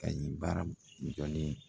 Kayi baara jɔlen